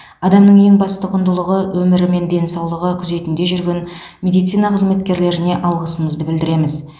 адамның ең басты құндылығы өмірі мен денсаулығы күзетінде жүрген медицина қызметкерлеріне алғысымызды білдіреміз